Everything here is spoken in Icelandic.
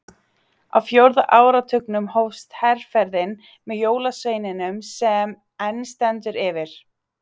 Á fjórða áratugnum hófst herferðin með jólasveininum sem enn stendur yfir.